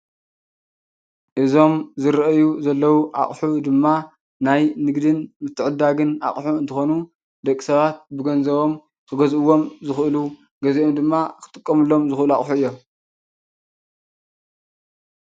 እዞም ዝረአዩ ዘለው እቑሑ ድማ ናይ ንግድን ምትዕድዳግን አቑሑ እንትኾኑ ደቂ ሰባት ብገንዘቦም ክገዝእዎም ዝኽእሉ ገዚኦም ድማ ክጥቀምሎም ዝኽእሉ አቑሑ እዮም።